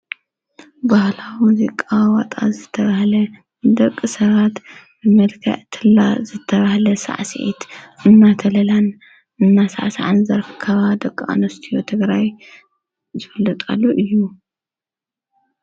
ባህላዊ ሙዚቃ ዋጣ ዘተባሃለ ደቂ ሰባት ብመልክእ ትላ ዝተባህለ ሰዓስዒት እናተለላን እናሳዕሳዓን ዝርከባ ደቂ ኣንስትዮ ትግራይ ዝፍለጣሉ እዩ።